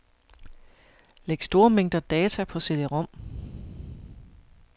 Læg store mængder data på cd-rom.